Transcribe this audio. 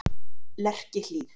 Lerkihlíð